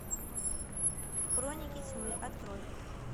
хроники тьмы открой